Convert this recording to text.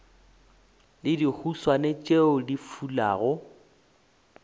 le dihuswane tšeo di fulago